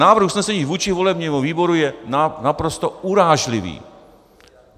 Návrh usnesení vůči volebnímu výboru je naprosto urážlivý!